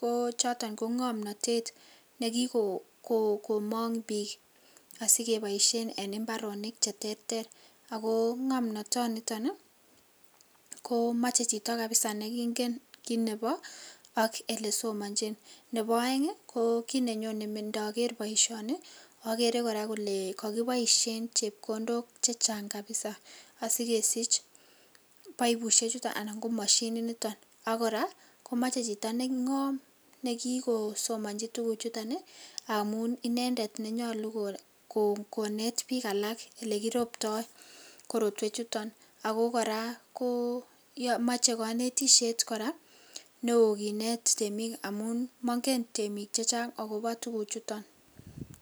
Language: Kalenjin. ko choton ko ng'omnotet nekikomong biik asikeboishen biik en imbaronik cheterter, ak ko ng'omnotoniton ko moche chito kabisa nekingen kiit nebo ak elesomonjin, Nebo oeng ko kiit nenyone ndoker boishoni okere kora olee kokiboishen chepkondok chechang kabisaa asikesich boibushechuton anan ko moshininitok ak kora komoche chito neng'om nekikosomonji tukuchuton amun inendet nenyolu konet biik alak elekiribto korotwechuton ak ko kora komoche konetishet kora neoo kinet temik amun mong'en temiik chechang akobo tukuchuton.